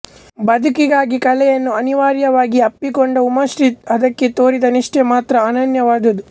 ಬದುಕಿಗಾಗಿ ಕಲೆಯನ್ನು ಅನಿವಾರ್ಯವಾಗಿ ಅಪ್ಪಿಕೊಂಡ ಉಮಾಶ್ರೀ ಅದಕ್ಕೆ ತೋರಿದ ನಿಷ್ಠೆ ಮಾತ್ರ ಅನನ್ಯವಾದದ್ದು